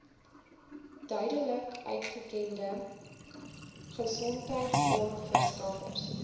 duidelik uitgekende gesondheidsorgverskaffers